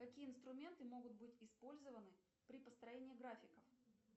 какие инструменты могут быть использованы при построении графиков